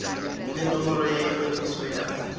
le nomoro ya ikwadiso ya